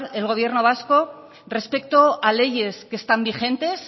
el gobierno vasco respecto a leyes que están vigentes